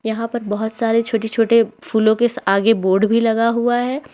यहां पर बहुत सारी छोटे छोटे फूलों के आगे बोर्ड भी लगा हुआ है।